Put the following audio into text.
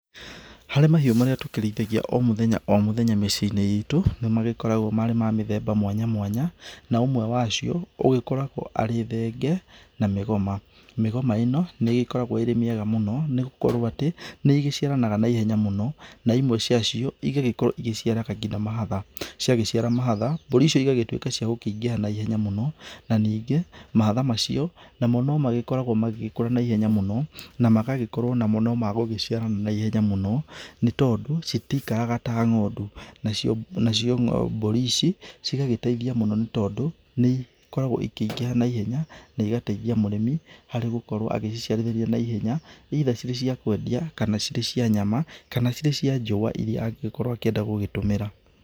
Harĩ mahiũ marĩa tũkĩrĩithagia o mũthenya o mũthenya mĩciĩ-inĩ itũ nĩ magĩkoragwo marĩ ma mĩthemba mwanya mwanya, na ũmwe wacio ũgĩkoragwo arĩ thenge na mĩgoma. Mĩgoma ĩno nĩ ĩkoragwo ĩrĩ mĩega mũno nĩgũkorwo atĩ nĩigĩciaranaga na ihenya mũno na imwe cia cio igagĩkorwo ĩgĩciara nginya mahatha. Ciagĩciara mahatha, mbũri icio cigagĩtũĩka cia gũkĩingĩha naihenya mũno. Na ningĩ mahatha macio mũno magĩkoragwa magĩkũra naihenya mũno, na magagĩkorwo namo magũgĩciara naihenya mũno nĩ tondũ, citikaraga ta ng'ondu. Nacio mbũri ici cigagĩteithia mũno nĩ tondũ nĩ ikoragwo ikĩingĩha naihenya naigateithia mũrĩmi arĩ gũkorwo agĩciarĩrĩria naihenya either cirĩ cia kwendia, kana cirĩ cia nyama, kana cirĩ cia njũa irĩa angĩgĩkorwo akĩenda kũgĩtũmĩra.